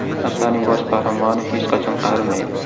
Asarning bosh qahramoni hech qachon qarimaydi.